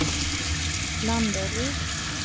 Landeryd